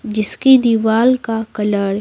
जिसकी दीवार का कलर --